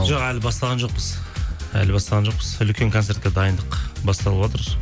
жоқ әлі бастаған жоқпыз әлі бастаған жоқпыз үлкен концертке дайындық басталыватыр